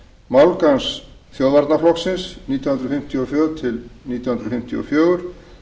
málgagns þjóðvarnarflokksins nítján hundruð fimmtíu og tvö til nítján hundruð fimmtíu og fjögur